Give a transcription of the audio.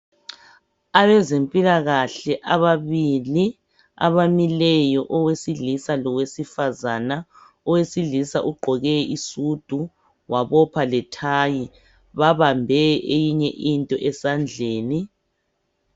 Abezempilakahle ababili abamileyo owesilisa lowesifazane, owesilisa ugqoke isudu wabopha lethayi babambe eyinye into esandleni.